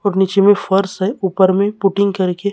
और नीचे में फर्श है ऊपर में पुटिंग करके--